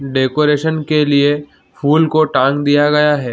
decoration के लिए फूल को टांग दिया गया है |